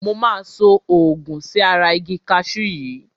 Mo máa so òògun sí ara igi kaṣú yìí.